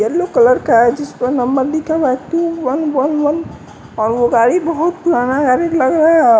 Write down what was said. yellow colour का है जिस पर नंबर लिखा हुआ है टु वन वन वन और वो गाड़ी बहोत पुराना